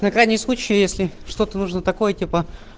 на крайний случай если что-то нужно такое типа